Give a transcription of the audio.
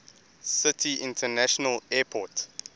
city international airport